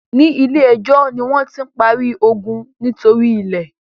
ní ilè ejó ní wón tí ń parí iogun nítorí ilè.